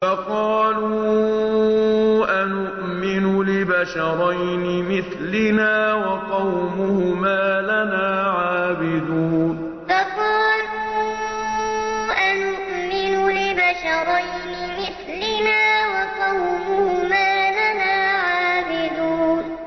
فَقَالُوا أَنُؤْمِنُ لِبَشَرَيْنِ مِثْلِنَا وَقَوْمُهُمَا لَنَا عَابِدُونَ فَقَالُوا أَنُؤْمِنُ لِبَشَرَيْنِ مِثْلِنَا وَقَوْمُهُمَا لَنَا عَابِدُونَ